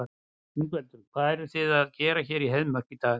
Ingveldur: Hvað eruð þið að gera hér í Heiðmörk í dag?